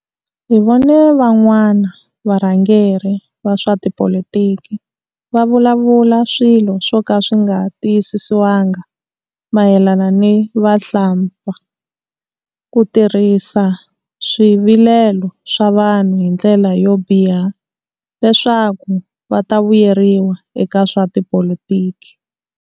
Hi vone van'wana varhangeri va swa tipolitiki va vulavula swilo swo ka swi nga tiyisisiwanga mayelana ni vahlampfa ku tirhisa swivilelo swa vanhu hi ndlela yo biha leswaku va ta vuyeriwa eka swa tipolitiki.